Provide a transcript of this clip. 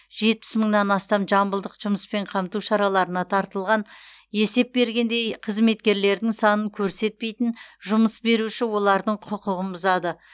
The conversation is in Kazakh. жетпіс мыңнан астам жамбылдық жұмыспен қамту шараларына тартылған есеп бергенде қызметкерлердің санын көрсетпейтін жұмыс беруші олардың құқығын бұзады